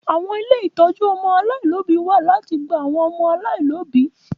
Àwọn ilé ìtọ́jú ọmọ aláìlóbìí wa láti gba àwọn ọmọ aláìlóbìí